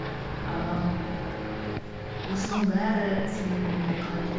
осының бәрі сенің ойыңа қалай келеді